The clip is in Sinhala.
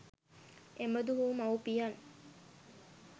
එබඳු වු මවුපියන්